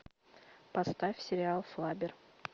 поставь сериал флаббер